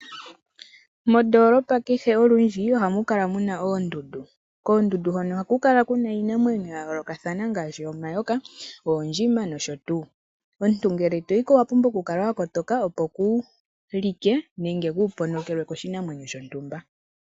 Mondoolopa kehe olundji ohamu kala muna oondundu. Koondundu hoka ohaku kala iinamwenyo yayoolokathana ngaashi omayoka, oondjima nayilwe. Omuntu ngele toyiko owapumbwa okukala wakotoka opo kuulike nenge kuuponokelwe koshinamwenyo shontumba.